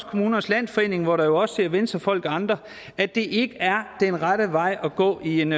kommunernes landsforening hvor der jo også sidder venstrefolk og andre at det ikke er den rette vej at gå i en